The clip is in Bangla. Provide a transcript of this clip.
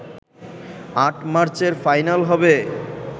৮ মার্চের ফাইনাল হবে